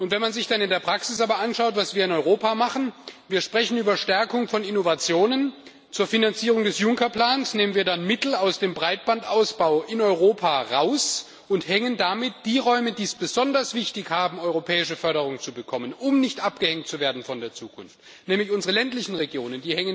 Wenn man sich dann in der Praxis aber anschaut, was wir in Europa machen Wir sprechen über eine Stärkung von Innovationen zur Finanzierung des Juncker-Plans, nehmen dann Mittel aus dem Breitbandausbau in Europa raus und hängen damit die Räume, für die es besonders wichtig ist europäische Förderung zu bekommen, um nicht von der Zukunft abgehängt zu werden nämlich unsere ländlichen Regionen